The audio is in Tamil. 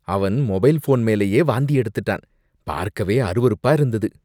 அவன் மொபைல் ஃபோன் மேலயே வாந்தி எடுத்துட்டான். பார்க்கவே அருவருப்பா இருந்தது.